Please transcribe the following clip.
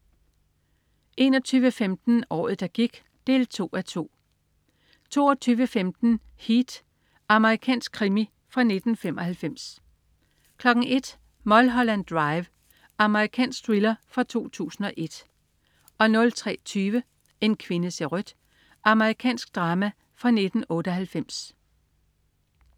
21.15 Året, der gik 2:2 22.15 Heat. Amerikansk krimi fra 1995 01.00 Mulholland Drive. Amerikansk thriller fra 2001 03.20 En kvinde ser rødt. Amerikansk drama fra 1998